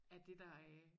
Er det der øh